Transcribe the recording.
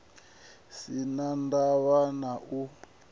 si na ndavha na u